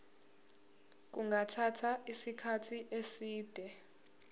kungathatha isikhathi eside